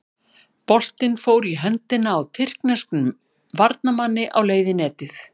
Boltinn fór í höndina á tyrkneskum varnarmanni á leið í netið.